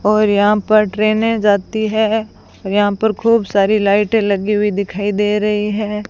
और यहां पर ट्रेनें जाती है और यहां पर खूब सारी लाइटें लगी हुई दिखाई दे रही हैं।